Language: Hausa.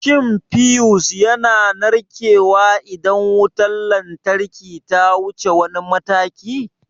Shin fiyus yana narkewa idan wutar lantarki ta wuce wani mataki?